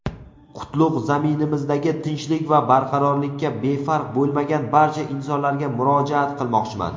qutlug‘ zaminimizdagi tinchlik va barqarorlikka befarq bo‘lmagan barcha insonlarga murojaat qilmoqchiman.